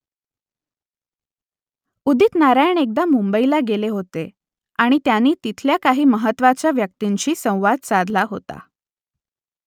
उदित नारायण एकदा मुंबई येथे गेले होते आणि त्यांनी तिथल्या काही महत्त्वाच्या व्यक्तींशी संवाद साधला होता